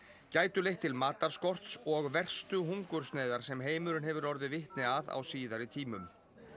gætu leitt til matarskorts og verstu hungursneyðar sem heimurinn hefur orðið vitni að á síðari tímum